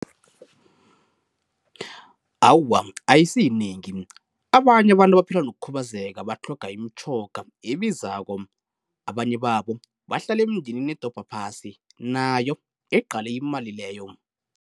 Awa ayisiyinengi, abanye abantu abaphila nokukhubazeka batlhoga imitjhoga ebizako, abanye babo bahlala emindenini edobha phasi nayo eqale imali leyo.